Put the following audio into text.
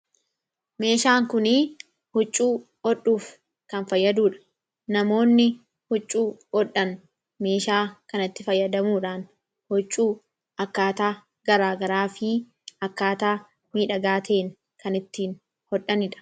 Meeshaan Kun huccuu hodhuuf kan fayyadudha. Namoonni huccuu hodhun, meeshaa kanatti fayyadamuudhaan huccuu akkaataa garaagaraa fi akkaataa halluu miidhagaa ta'een kan ittiin hodhanidha.